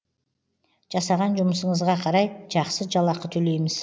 жасаған жұмысыңызға қарай жақсы жалақы төлейміз